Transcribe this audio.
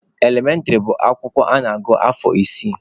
Elementịrị bụ akwụkwọ a na-agụ afọ isii.